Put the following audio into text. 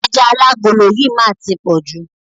Ẹja alágolo yìí má á ti pọ̀jù.